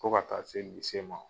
Fɔ ka taa se lise ma..